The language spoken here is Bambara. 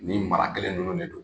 Nin mara kelen ninnu de don